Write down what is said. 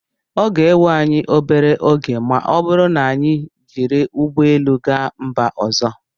ọ ga-ewe anyị obere oge ma ọ bụrụ na anyị jiri ụgbọ elu gaa mba ọzọ